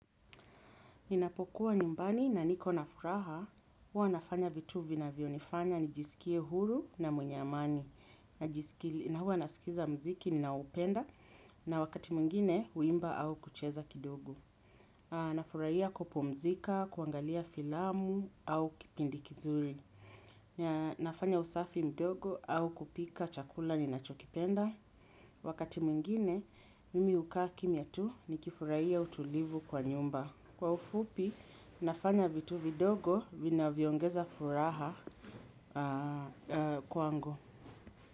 Ninapokuwa nyumbani na niko na furaha, huwa nafanya vitu vinavyonifanya nijisikie huru na mwenye amani na huwa nasikiza mziki ninaoupenda na wakati mwingine huimba au kucheza kidogo. Nafurahia kupumzika, kuangalia filamu au kipindi kizuri. Na nafanya usafi mdogo au kupika chakula ninacho kipenda. Wakati mwingine, mimi hukaa kimya tu nikifurahia utulivu kwa nyumba. Kwa ufupi, nafanya vitu vidogo, vina vyoongeza furaha kwangu.